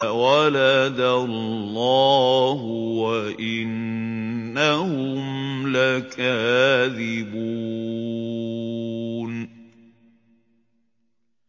وَلَدَ اللَّهُ وَإِنَّهُمْ لَكَاذِبُونَ